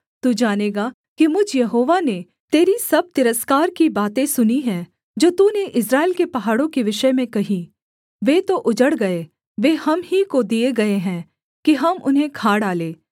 तू जानेगा कि मुझ यहोवा ने तेरी सब तिरस्कार की बातें सुनी हैं जो तूने इस्राएल के पहाड़ों के विषय में कहीं वे तो उजड़ गए वे हम ही को दिए गए हैं कि हम उन्हें खा डालें